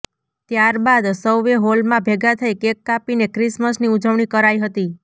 ત્યારબાદ સૌએ હોલમાં ભેગા થઇ કેક કાપીને ક્રિસમસની ઉજવણી કરાઈ હતી